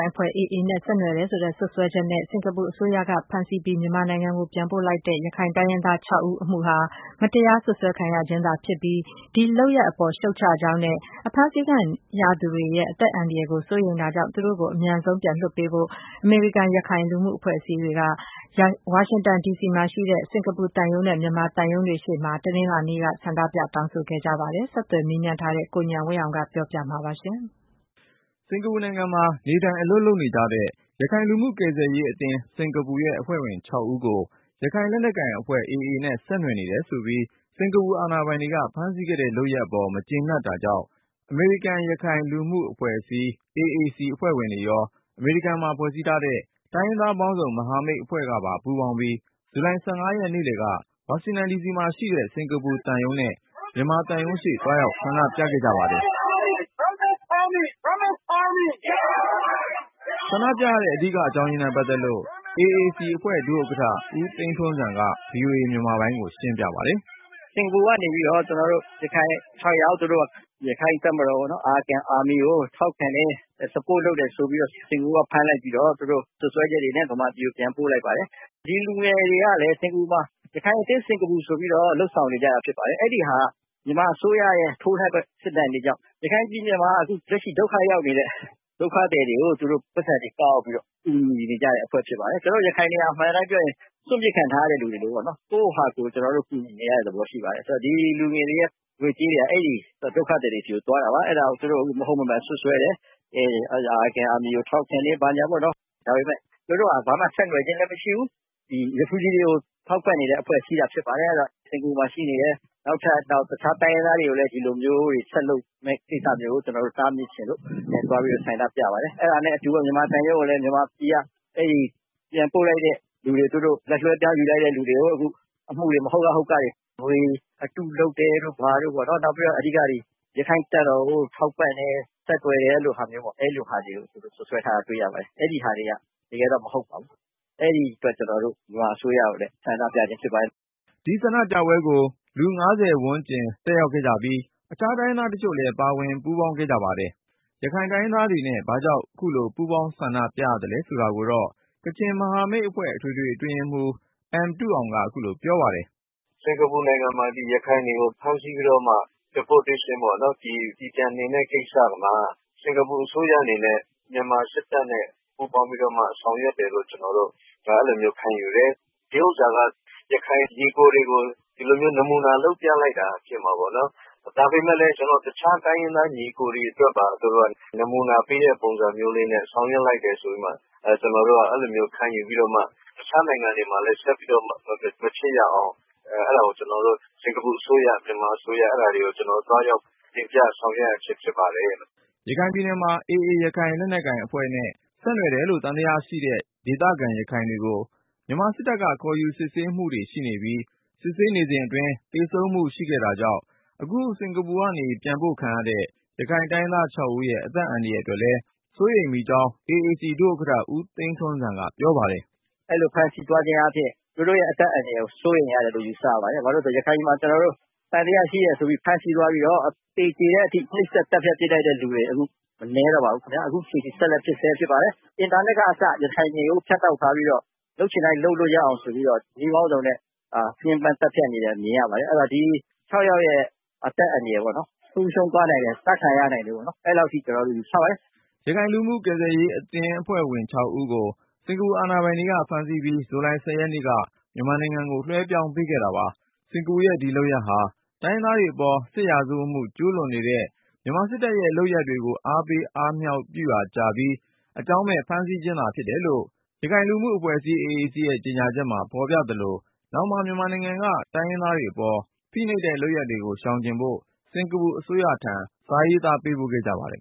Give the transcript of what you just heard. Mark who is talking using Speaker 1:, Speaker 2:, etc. Speaker 1: ်အဖွဲ့ AA နဲ့ ဆက်နွယ်နေတယ်ဆိုတဲ့ စွပ်စွဲချက်နဲ့ စင်္ကာပူအစိုးရကဖမ်းဆီးပြီး မြန်မာနိုင်ငံ ပြန်ပို့လိုက်တဲ့ ရခိုင်တိုင်းရင်းသား ၆ ဦးအမှုဟာ မတရားစွပ်စွဲ ခံရခြင်းသာဖြစ်ပြီး၊ ဒီလုပ်ရပ်အပေါ် ရှုတ်ချကြောင်းနဲ့ အဖမ်းဆီးခံနေရသူတွေရဲ့ အသက်အန္တရာယ်ကို စိုးရိမ် တာကြောင့် သူတို့ကို အမြန်ပြန်လွှတ်ပေးဖို့ အမေရိကန်-ရခိုင်လူမှုအဖွဲ့အစည်းက စင်္ကာပူသံရုံးနဲ့ မြန်မာသံရုံးရှေ့ သွားရောက်ပြီး တနင်္လာနေ့က ဆန္ဒပြတောင်းဆိုလိုက်ကြပါတယ်။ ဆက်သွယ်မေးမြန်းထားတဲ့ ကိုဉာဏ်ဝင်းအောင်က တင်ပြမှာပါ။ စင်္ကာပူနိုင်ငံမှာ နေထိုင်အလုပ်လုပ်နေတဲ့ ရခိုင်လူမှုကယ်ဆယ်ရေးအသင်း ရဲ့အဖွဲ့ဝင် ၆ ဦးကို ရခိုင့်လက်နက်ကိုင်အဖွဲ့ AA နဲ့ ဆက်နွယ်နေတယ်ဆိုပြီး စင်္ကာပူအာဏာပိုင်တွေက ဖမ်းဆီးခဲ့တဲ့ လုပ်ရပ်အပေါ် မကြေနပ်တာကြောင့် အမေရိကန်-ရခိုင်လူမှုအဖွဲ့အစည်း AAC အဖွဲ့ဝင်တွေရော၊ အမေရိကန်မှာ ဖွဲ့စည်းထားတဲ့ တိုင်းရင်းသားပေါင်းစုံ မဟာမိတ်အဖွဲ့ကပါ ပူးပေါင်းပြီး ဇူလိုင် ရက်နေ့လည်က ဝါရှင်တန်ဒီစီမှာရှိတဲ့ စင်္ကာပူသံရုံးနဲ့ မြန်မာသံရုံးရှေ့ သွားရောက် ဆန္ဒပြခဲ့ကြပါတယ်
Speaker 2: ။
Speaker 1: ဆန္ဒပြရတဲ့ အဓိကအကြောင်းနဲ့ပတ်သက်လို့ AAC အဖွဲ့ ဒုဥက္ကဌ ဦးသိန်းထွန်းဇံက VOA မြန်မာပိုင်းကို ရှင်းပြပါတယ်။
Speaker 2: “စင်္ကာပူ ကနေပြီးတော့ ကျနော်တို့ ရခိုင် ၆ ယောက် က ရခိုင့်တပ်မတော် Arakan army ကိုထောက်ခံတယ် Support လုပ်တယ်ဆိုပြီးတော့ စင်္ကာပူက ဖမ်းလိုက်ပြီးတော့ သူတို့ စွပ်စွဲချက်တွေဲ့ မြန်မာပြည်ကို ပြန်ပို့လိုက်ပါတယ်။ ဒီလူငယ်တွေကလည်း စင်္ကာပူမှာ ရခိုင်အသင်း စင်္ကာပူဆိုပြီးတော့ လုပ်ဆောင်နေတာဖြစ်ပါတယ်။ အဲဒါက မြန်မာအစိုးရရဲ့ ထိုးစစ်တွေကြောင့် ရခိုင်ပြည်နယ်မှာ လက်ရှိဒုက္ခရောက်နေတဲ့ ဒုက္ခသည်တွေကို သူတို့ ပိုက်ဆံတွေကောက်ပြီးတော့ ကူညီနေတဲ့အဖွဲ့ဖြစ်ပါတယ်။ ကျနော်တို့ ရခိုင်တွေက အမှန်အတိုင်းပြောရင် စွန့်ပစ်ခံထားရတဲ့ လူတွေပေါ့နော် ကိုယ့်ဟာကိုယ် ကူညီနေရတဲ့ သဘောရှိပါတယ်။ ဆိုတော့ ဒီလူငယ်တွေရဲ့ ငွေကြေးတွေဟာ အဲဒီ ဒုက္ခသည်တွေဆီကို သွားတာပါ။ အဲဒါကို သူတို့ မဟုတ်မမှန်စွပ်စွဲတယ်။ Arakan army ကို ထောက်ခံတယ်ပေါ့နော် ဒါပေမယ့် သူတို့ဟာ ဘာမှ ဆက်နွယ်တာလည်းမရှိဘူး Refugee တွေကို ထောက်ပံ့နေတာ ဖြစ်ပါတယ်။ အဲဒီတော့ စင်္ကာပူမှာရှိနေတဲ့ တခြားတိုင်းရင်းသားတွေကိုလည်း ဒီလိုဆက်လုပ်မယ့် ကိစ္စတွေကို တားမြစ်ချင်လို့ ဒီနေ့ ဆန္ဒပြပါတယ်။ အဲဒါနဲ့အတူပေါ့ မြန်မာသံရုံးကိုလည်း မြန်မာပြည်က ပြန်ပို့လိုက်တဲ့သူတွေ သူတို့ လက်လွဲပြောင်းယူလိုက်တဲ့သူတွေကို အမှုတွေ မဟုတ်ကဟုတ်ကတွေ ငွေအတုလုပ်တယ်တို့၊ ဘာတို့ပေါ့နော် အဓိကတော့ ရခိုင့်တပ်မတော်ကို ထောက်ပံ့တယ် ဆက်သွယ်တယ်ဆိုတာတွေကို စွပ်စွဲထားတာတွေ့ရပါတယ်။ အဲဒါတွေက တကယ်တော့မဟုတ်ပါဘူး အဲဒီအတွက် ကျနော်တို့ မြန်မာအစိုးရကိုလည်း ဆန္ဒပြတာဖြစ်ပါတယ်။
Speaker 1: ” ဒီဆန္ဒပြပွဲကို လူ ဝန်းကျင် တက်ရောက်ကြပြီး အခြားတိုင်းရင်းသားတချို့လည်း ပူးပေါင်းပါဝင်ခဲ့ကြပါတယ်။ ရခိုင်တိုင်းရင်းသားတွေနဲ့ ဘာကြောင့် ပူးပေါင်းဆန္ဒပြရသလဲ ဆိုတာကိုတော့ ကချင်မဟာမိတ်အဖွဲ့ အထွေထွေ အတွင်းရေးမှူး M တူးအောင်က ခုလိုပြောပါတယ်။
Speaker 3: “စင်္ကာပူနိုင်ငံမှာ ရခိုင်တွေကို ဖမ်းဆီးပြီးတော့မှ deportation ပေါ့နော် ပြည်ပြန်နှင်တဲ့ ကိစ္စမှာ စင်္ကာပူအစိုးရအနေနဲ့ မြန်မာစစ်တပ်နဲ့ ပူးပေါင်းပြီးတော့ ဆောင်ရွက်တယ်လို့ ကျနော်တို့ အဲလိုခံယူတယ်။ ဒီဟာက ရခိုင်ညီအကိုတွေကို ဒီလိုမျိုးနမူနာလုပ်ပြလိုက်တာဖြစ်မှာပေါ့နော်။ ဒါပေမယ့်လည်း ကျနော်တို့ တခြားတိုင်းရင်းသားညီအကိုတွေအတွက်ပါ နမူနာပေးတဲ့ပုံစံမျိုးလေးနဲ့ ဆောင်ရွက်လိုက်တယ်ဆိုပြီးမှ အဲလိုမျိုးခံယူပြီးတော့မှ တခြားနိုင်ငံတွေမှာလည်း ဆက်ပြီးမဖြစ်ရအောင် စင်္ကာပူအစိုးရ နဲ့ မြန်မာအစိုးရတွေကို သွားရောက်တင်ပြဆောင်ရွက်ခြင်းဖြစ်ပါတယ်။
Speaker 1: ” ရခိုင်ပြည်နယ်မှာ AA ရခိုင်လက်နက်ကိုင်အဖွဲ့နဲ့ ဆက်နွယ်တယ်လို့ သံသယရှိတဲ့ ဒေသခံရခိုင်တွေကို မြန်မာစစ်တပ်က ခေါ်ယူစစ်ဆေးမှုရှိပြီး၊ စစ်ဆေးနေစဉ်အတွင်း သေဆုံးမှု ရှိခဲ့တာကြောင့် အခု စင်္ကာပူကနေ ပြန်ပို့ခံရတဲ့ ရခိုင်တိုင်းရင်းသား ၆ဦးရဲ့ အသက်အန္တရာယ်အတွက်လည်း စိုးရိမ်ကြောင်း AAC ဒုဥက္ကဌ ဦးသိန်းထွန်းဇံက ပြောပါတယ်
Speaker 2: ။ “အဲလိုဖမ်းဆီးသွားခြင်းအားဖြင့် သူတို့ အသက်အန္တရာယ်တွေကို စိုးရိမ်ရတယ်လို့ ယူဆရပါတယ်။ ဘာဖြစ်လို့လဲဆိုတော့ ရခိုင်ပြည်မှာ သံသယရှိတယ်ဆိုပြီး ဖမ်းသွားပြီးတော့ သေတဲ့အထိ နှိတ်စက်သတ်ဖြတ်လိုက်တဲ့ လူတွေမနည်းတော့ပါဘူးခင်ဗျ။ အခုလည်း ဆက်ဖြစ်နေဆဲဖြစ်ပါတယ် အင်တာနက်ကအစ ရခိုင်ပြည်ကို ဖြတ်တောက်ထားပြီးတော့ လုပ်ချင်တိုင်း လုပ်လို့ရအောင်ဆိုပြီးတော့ နည်းပေါင်းစုံနဲ့ ညှဉ်းပမ်းသတ်ဖြတ်နေတာ မြင်ရပါတယ်။ ဆိုတော့ ဒီ ၆ ယောက်ရဲ့ အသက်အန္တရာယ် ဆုံးရှုံးသွားနိုင်တယ် အသတ်ခံရနိုင်တယ်လို့ အဲလောက်အထိ ကျနော်တို့ ယူဆတယ်။
Speaker 1: ” ရခိုင်လူမှုကယ်ဆယ်ရေးအသင်း ရဲ့အဖွဲ့ဝင် ၆ ဦးကို စင်္ကာပူအာဏာပိုင်တွေ ဖမ်းဆီးပြီး ဇူလိုင် ရက်နေ့က မြန်မာနိုင်ငံကို လွှဲပြောင်း ပေးခဲ့တာပါ။ စင်္ကာပူရဲ့ ဒီလုပ်ရပ်ဟာ တိုင်းရင်းသားတွေအပေါ် စစ်ရာဇဝတ်မှု ကျူးလွန်နေတဲ့ မြန်မာစစ်တပ်ရဲ့လုပ်ရပ်တွေကို အားပေးအားမြှောက်ပြုရာကျပြီး အကြောင်းမဲ့ ဖမ်းဆီးခဲ့ခြင်းသာ ဖြစ်တယ်လို့ အမေရိကန်-ရခိုင်လူမှုအဖွဲ့အစည်း AAC ရဲ့ကြေညာချက်မှာ ဖေါ်ပြသလို၊ နောင်မှာ မြန်မာနိုင်ငံက တိုင်းရင်းသားတွေအပေါ် ဖိနှိပ်တဲ့လုပ်ရပ်တွေကို ရှောင်ကျဉ်ဖို့ စင်္ကာပူအစိုးရထံ စာရေးသားပေးပို့ ခဲ့ကြပါတယ်